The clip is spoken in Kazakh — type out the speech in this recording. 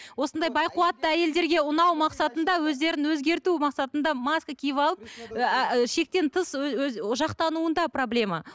осындай байқуатты әйелдерге ұнау мақсатында өздерін өзгерту мақсатында маска киіп алып шектен тыс жақтануында проблема